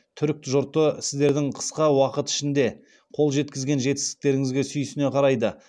түрік жұрты сіздердің қысқа уақыт ішінде қол жеткізген жетістіктеріңізге сүйсіне қарайды